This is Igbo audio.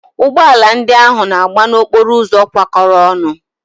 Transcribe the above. Ụgbọala ndị ahụ na-agba n'okporo ụzọ kwa kọrọ ọnụ.